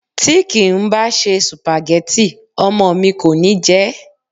Tí kì ń bá ṣe Sùpàgẹ́tì, ọmọ mi kò ní jẹ ẹ́.